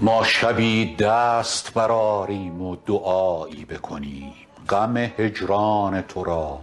ما شبی دست برآریم و دعایی بکنیم غم هجران تو را